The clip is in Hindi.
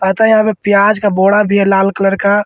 और तो यहां पे प्याज का बोड़ा भी है लाल कलर का।